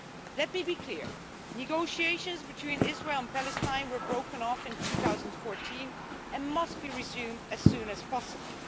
Let me be clear, negotiations between Israel and Palestine were broken off in 2014 and must be resumed as soon as possible.